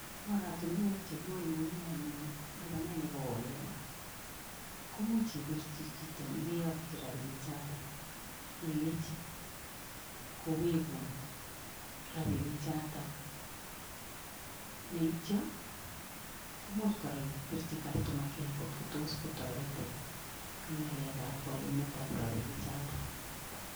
Oratunwek chekiwalune anyun lipanet nekowo oleya komuch ibirchi chito nekeyakchi rabinik chaatak ilechi kowegun rabinik chaatak neitcho much kora ibirchi customer care kotkotos kotoretin ing' walunet ap rabinik chaatok